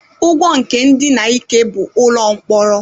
Ụgwọ nke ndina n'ike bụ ụlọ mkpọrọ.